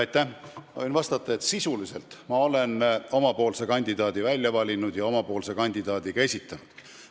Ma võin vastata, et sisuliselt ma olen oma kandidaadi välja valinud ja tema ka esitanud.